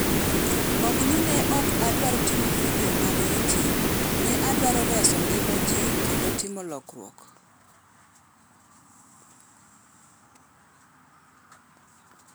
“Ok ni ne oka adwar timo vidio mag YouTube - ne adwaro reso ngima ji kendo timo lokruok